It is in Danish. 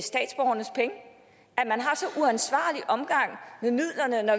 man har så uansvarlig omgang med midlerne når